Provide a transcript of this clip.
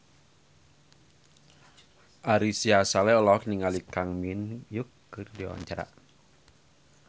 Ari Sihasale olohok ningali Kang Min Hyuk keur diwawancara